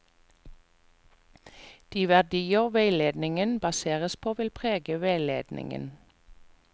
De verdier veiledningen baseres på, vil prege veiledningen.